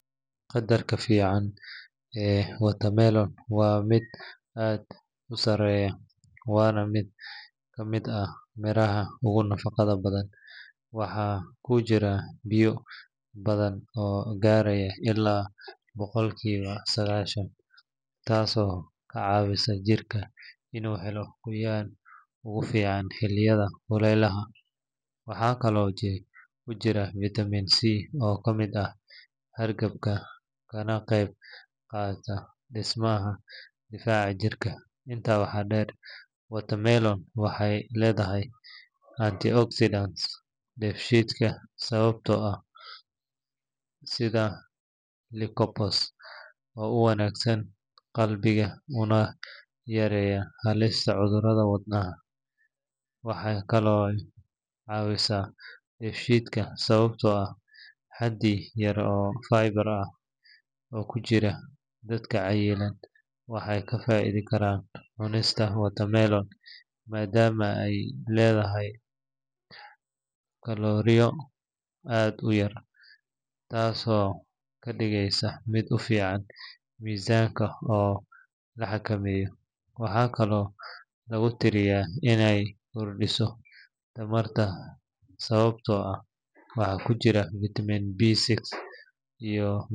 Qadarka faa’iidada ee watermelon waa mid aad u sareeya waana mid ka mid ah miraha ugu nafaqo badan. Waxaa ku jira biyo badan oo gaaraya ilaa boqolkiiba sagaashan, taasoo ka caawisa jidhka inuu helo qoyaan kugu filan xilliyada kulaylaha. Waxaa kaloo ku jirta vitamin C oo ka hortaga hargabka kana qayb qaata dhismaha difaaca jirka. Intaa waxaa dheer, watermelon waxay leedahay antioxidants sida lycopene oo u wanaagsan qalbiga una yareeya halista cudurrada wadnaha. Waxay kaloo caawisaa dheefshiidka sababtoo ah xaddi yar oo fiber ah oo ku jira. Dadka cayilan waxay ka faa’iidi karaan cunista watermelon maadaama ay leedahay kalooriyo aad u yar, taasoo ka dhigaysa mid u fiican miisaanka oo la xakameeyo. Waxaa kaloo lagu tiriyaa inay kordhiso tamarta sababtoo ah waxaa ku jira vitamin B6 iyo.